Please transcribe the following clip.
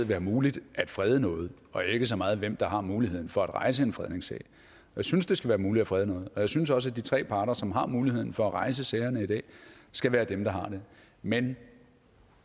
være muligt at frede noget og ikke så meget på hvem der har muligheden for at rejse en fredningssag jeg synes det skal være muligt at frede noget og jeg synes også de tre parter som har muligheden for at rejse sagerne i dag skal være dem der har det men